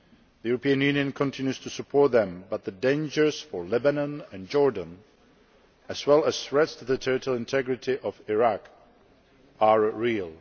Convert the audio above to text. The European Union continues to support them, but the dangers for Lebanon and Jordan, as well as threats to the territorial integrity of Iraq, are real.